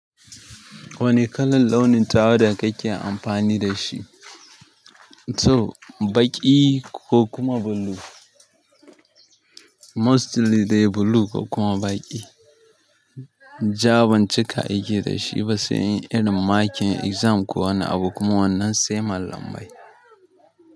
Wane kalar launin tawada kake amfani da shi? To, baƙi ko kuma blue. Mostly dai blue ko kuma baƙi. Ja ban cika aiki da shi ba, sai in yi irin makin exam ko wani abu kuma wannan sai mallamai.